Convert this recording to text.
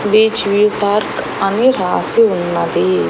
Which we park అని రాసి ఉన్నది.